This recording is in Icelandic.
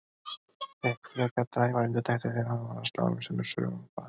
Fékk frekar dræmar undirtektir þegar hann var að slá um sig með sögum frá Ameríku.